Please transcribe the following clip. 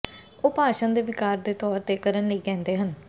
ਉਹ ਭਾਸ਼ਣ ਦੇ ਿਵਕਾਰ ਦੇ ਤੌਰ ਤੇ ਕਰਨ ਲਈ ਕਹਿੰਦੇ ਹਨ